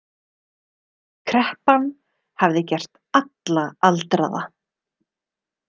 Kreppan hafði gert alla aldraða.